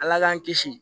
Ala k'an kisi